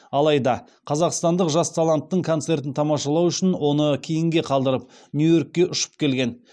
алайда қазақстандық жас таланттың концертін тамашалау үшін оны кейінге қалдырып нью йоркке ұшып келген